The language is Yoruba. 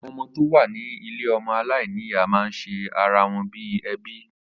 Àwọn ọmọ tó wà ní ilé ọmọ alainiya ma ń ṣe ara wọn bíi ẹbí